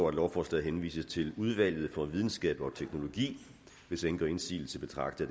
at lovforslaget henvises til udvalget for videnskab og teknologi hvis ingen gør indsigelse betragter